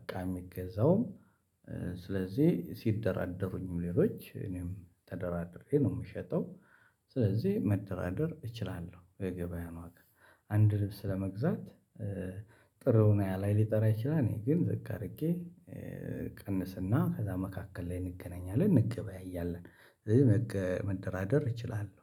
እቃ የሚገዛውም፤ ስለዚህ ሲደራደሩኝም ሌሎች እኔም ተደራድሬ ነው የምሸጠው፤ ስለዚህ መደራደር እችላለሁ የገበያ ነው አንድ ልብስ ለመግዛት ጥሩ ነው ላይ ሊጠራ ይችላል እኔ ግን ዝቅ አድርጌ ቀንስና ከዛ መካከል ላይ እንገናኛለን፤ እንገበያያለን ስለዚህ መደራደር እችላለሁ።